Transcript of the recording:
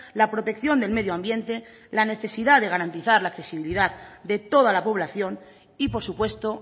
la protección del medio ambiente la necesidad de garantizar la accesibilidad de toda la población y por supuesto